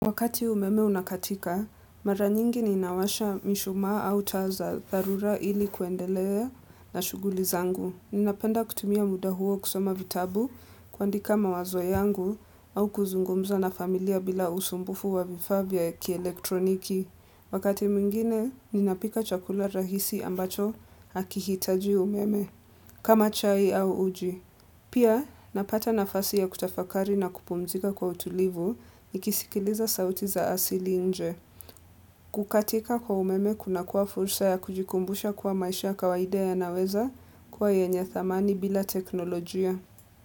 Wakati umeme unakatika, mara nyingi ninawasha mishumaa au taa za tharura ili kuendelea na shuguli zangu. Ninapenda kutumia muda huo kusoma vitabu, kuandika mawazo yangu au kuzungumza na familia bila usumbufu wa vifaa vya kielektroniki. Wakati mwingine, ninapika chakula rahisi ambacho hakihitaji umeme kama chai au uji. Pia napata nafasi ya kutafakari na kupumzika kwa utulivu, nikisikiliza sauti za asili nje. Kukatika kwa umeme kunakuwa fursa ya kujikumbusha kuwa maisha kawaida yanaweza kuwa yenye thamana bila teknolojia.